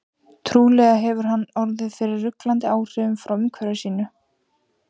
Trúlega hefur hann orðið fyrir ruglandi áhrifum frá umhverfi sínu.